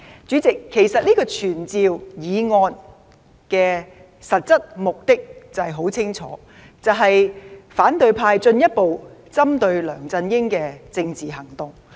主席，其實這項傳召議案的實質目的很明顯，便是反對派進一步針對梁振英的政治行動。